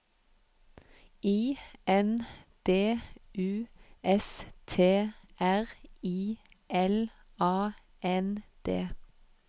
I N D U S T R I L A N D